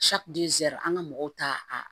an ka mɔgɔw ta